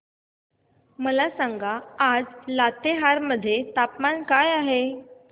मला सांगा आज लातेहार मध्ये तापमान काय आहे